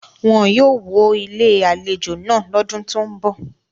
Wọn yóò wó Ilé-àlejò náà lọ́dún tó ń bọ̀.